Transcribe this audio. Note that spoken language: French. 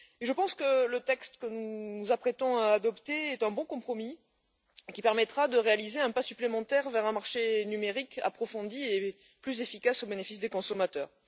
Je pense que le texte que nous nous apprêtons à adopter est un bon compromis, qui permettra de réaliser un pas supplémentaire vers un marché numérique approfondi et plus efficace au bénéfice des consommateurs.